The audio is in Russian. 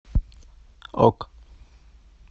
ок